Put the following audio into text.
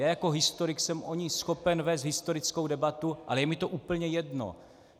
Já jako historik jsem o ní schopen vést historickou debatu, ale je mi to úplně jedno.